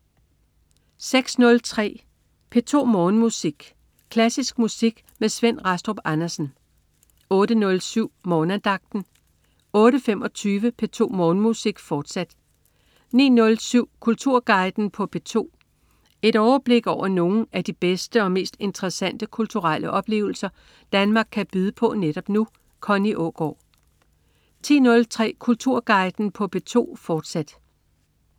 06.03 P2 Morgenmusik. Klassisk musik med Svend Rastrup Andersen 08.07 Morgenandagten 08.25 P2 Morgenmusik, fortsat 09.07 Kulturguiden på P2. Et overblik over nogle af de bedste og mest interessante kulturelle oplevelser Danmark kan byde på netop nu. Connie Aagaard 10.03 Kulturguiden på P2, fortsat